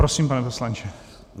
Prosím, pane poslanče.